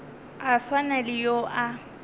a swana le yo a